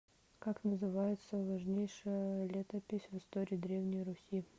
как называется важнейшая летопись в истории древней руси